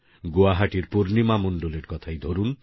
গুয়াহাটির পূর্ণিমা মন্ডল এর কথাই ধরুন